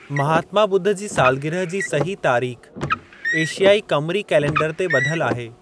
महात्मा ॿुध जी सालगिरह जी सही तारीख़ एशियाई क़मरी कैलेंडर ते ॿधलु आहे।